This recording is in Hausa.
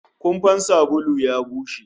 Kumfan sabulu ya bushe